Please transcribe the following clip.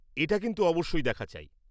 এটা কিন্তু অবশ্যই দেখা চাই।